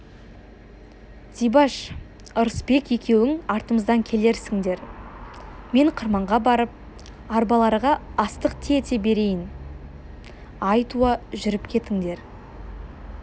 зибаш ырысбек екеуің артымыздан келерсіңдер мен қырманға барып арбаларға астық тиете берейін ай туа жүріп кетіңдер